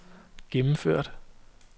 gennemført